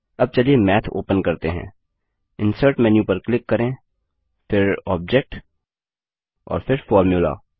अब चलिए math open करते हैं इंसर्ट मेन्यू पर क्लिक करें फिर ऑब्जेक्ट और फिर फॉर्मुला